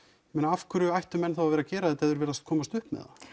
af hverju ættu menn þá að gera þetta ef þeir virðast komast upp með það